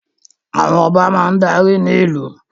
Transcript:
Àwọn Ọba máa darí ní ìlú